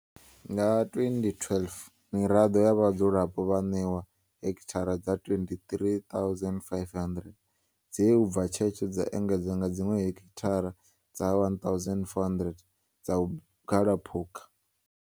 Nga 2012, miraḓo ya vhadzulapo vha ṋewa hekithara dza 23 500 dze u bva tshetsho dza engedzwa nga dziṅwe hekithara dza 1400 dza vhugalaphukha.